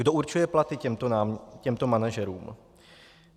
Kdo určuje platy těmto manažerům?